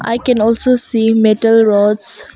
I can also see metal rods.